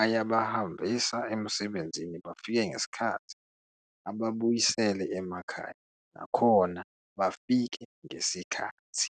ayabahambisa emsebenzini bafike ngesikhathi, ababuyisele emakhaya nakhona bafike ngesikhathi.